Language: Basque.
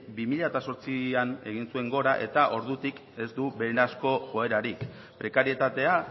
bi mila zortzian egin zuen gora eta ordutik ez du beherazko joerarik prekarietatea